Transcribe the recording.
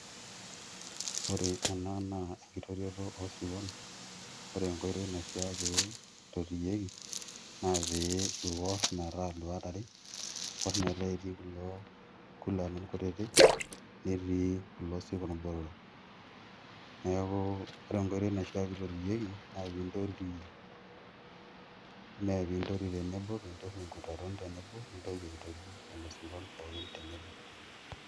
Oore ena naa enkitotiotio osirkon, oore enkoitoi naishiaa peyie eitotiyieki, naa pee iwor metaa iluat aare, iwor metaa ketii kulo kulalun kutitik, netii kuulo sirkon botorok. Niaku oore enkoitoi naishia pee eitotiyieki, naa iime pee intoti tenebo, pee intoti inkurarun tenebo, nintoki aitoti lelo sirkon pooki tenebo.